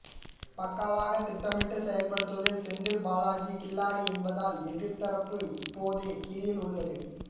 பக்காவாக திட்டமிட்டு செயல்படுவதில் செந்தில் பாலாஜி கில்லாடி என்பதால் எதிர்த்தரப்பு இப்போதே கிலியில் உள்ளது